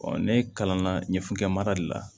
ne kalan na ɲɛfukɛ mara de la